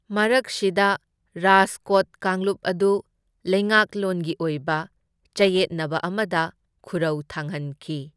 ꯃꯔꯛꯁꯤꯗ, ꯔꯥꯖꯀꯣꯠ ꯀꯥꯡꯂꯨꯞ ꯑꯗꯨ ꯂꯩꯉꯥꯛꯂꯣꯟꯒꯤ ꯑꯣꯏꯕ ꯆꯌꯦꯠꯅꯕ ꯑꯃꯗ ꯈꯨꯔꯧ ꯊꯥꯡꯍꯟꯈꯤ꯫